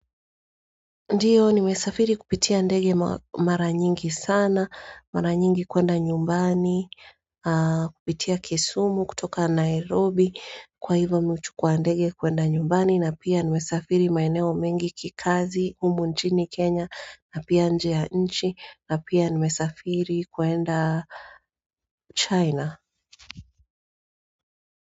Ndiyo nimesafiri kupitia ndege mara nyingi sana, mara nyingi kuenda nyumbani, kupitia kisumu kutoka Nairobi kwa hivyo huchukua ndege kuenda nyumbani na pia nimesafiri maeneo mengi kikazi humu nchini Kenya na pia nje ya nchi na pia nimesafiri kuenda China.